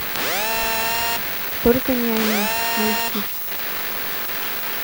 только не они найти